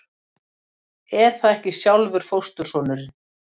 Er það ekki sjálfur fóstursonurinn?